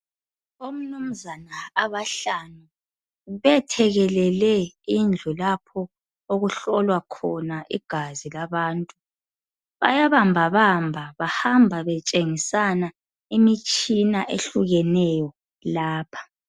Omnumzana abahlanu bethekelele indlu lapho okuhlolwa khona igazi labantu. Bayabambabamba bahamba betshengisana imitshina ehlukeneyo lapha.